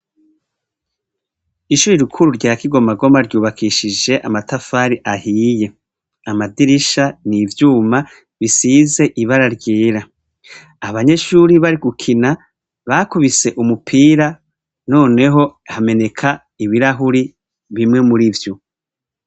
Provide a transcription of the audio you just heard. Ishuri rikuru rya Kigomagoma, ryubakishije amatafari ahiye; amadirisha ni ivyuma bisize ibara ryera; abanyeshuri bari gukina, bakubise umupira, noneho hameneka ibirahuri bimwe muri vyo.